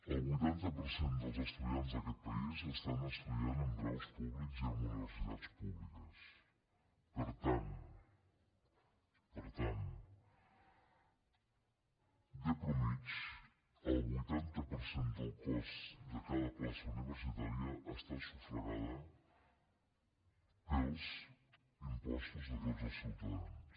el vuitanta per cent dels estudiants d’aquest país estan estudiant en graus públics i en universitats públiques per tant per tant de mitjana el vuitanta per cent del cost de cada plaça universitària està sufragat pels impostos de tots els ciutadans